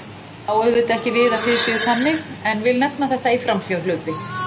Ég á auðvitað ekki við að þið séuð þannig en vil nefna þetta í framhjáhlaupi.